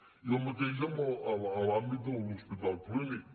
i el mateix a l’àmbit de l’hospital clínic